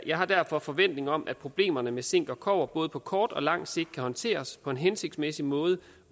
jeg har derfor forventning om at problemerne med zink og kobber både på kort og lang sigt kan håndteres på en hensigtsmæssig måde